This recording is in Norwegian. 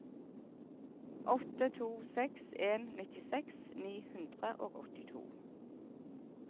åtte to seks en nittiseks ni hundre og åttito